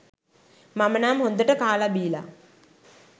මම නම් හොඳට කාල බිලා